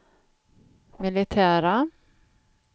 militära